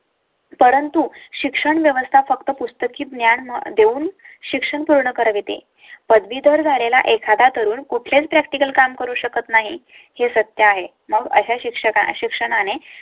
परंतु शिक्षण व्यवस्था फक्त पुस्तकी ज्ञान देऊन शिक्षण पूर्ण कवळी ते पदवीधर झालेला एखादा तरुण कुठलेच practical काम करू शकत नाही हे सत्य आहे. मग अशा शिक्षकां ना शिक्षणा ने